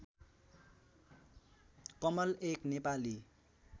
कमल एक नेपाली